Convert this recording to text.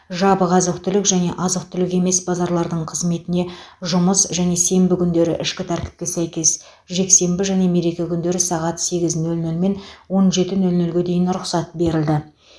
жабық азық түлік және азық түлік емес базарлардың қызметіне жұмыс және сенбі күндері ішкі тәртіпке сәйкес жексенбі және мереке күндері сағат сегіз нөл нөлмен он жеті нөл нөлге дейін рұқсат берілді